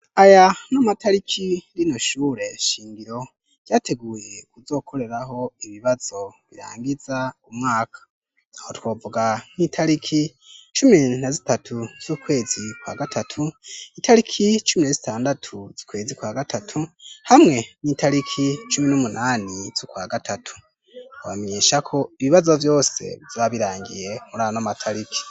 Aya ni amatariki rino shure shingiro ryateguye kuzokoreraho ibibazo birangiza umwaka. Aho twovuga nk'itariki cumi na zitatu z'ukwezi kwa gatatu, itariki cumi na zitandatu zukwezi kwa gatatu, hamwe n'itariki cumi n'umunani z'ukwa gatatu. Bamenyesha ko ibibazo vyose bizoba birangiye muri ano matariki.